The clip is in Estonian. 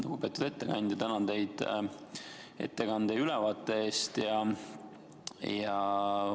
Lugupeetud ettekandja, tänan teid ettekande ja ülevaate eest!